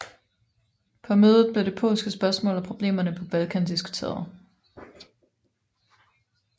På mødet blev det polske spørgsmål og problemerne på Balkan diskuteret